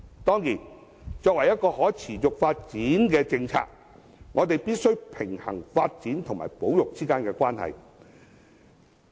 當然，作為可持續發展的政策，我們必須平衡發展與保育之間的關係。